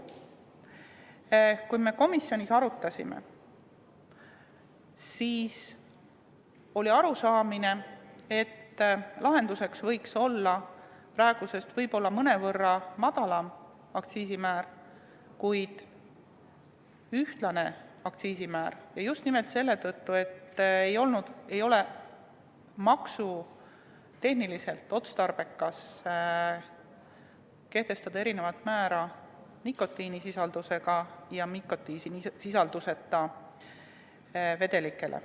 Kui me komisjonis seda arutasime, siis oli arusaamine, et lahendus võiks olla praegusest võib-olla mõnevõrra madalam aktsiisimäär, kuid ühtlane aktsiisimäär, ja just nimelt selle tõttu, et maksutehniliselt ei ole otstarbekas kehtestada erinev määr nikotiinisisaldusega ja nikotiinisisalduseta vedelikele.